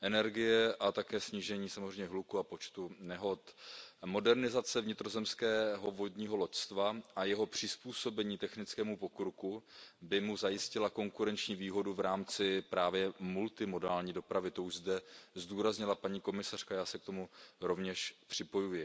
energie a také snížení samozřejmě hluku a počtu nehod. Modernizace vnitrozemského vodního loďstva a jeho přizpůsobení technickému pokroku by mu zajistily konkurenční výhodu v rámci právě multimodální dopravy, to už zde zdůraznila paní komisařka a já se k tomu rovněž připojuji.